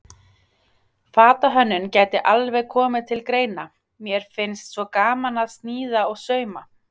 Fatahönnun gæti alveg komið til greina, mér finnst svo gaman að sníða og sauma.